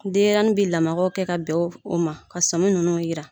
Denyɛrɛnin bɛ lamagaw kɛ ka bɛn o ma, ka sami ninnu yira